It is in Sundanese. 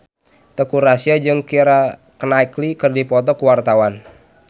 Teuku Rassya jeung Keira Knightley keur dipoto ku wartawan